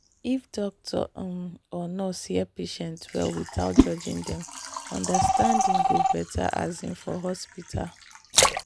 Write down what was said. if doctor um or nurse hear patient well without judging dem understanding go better um for hospital.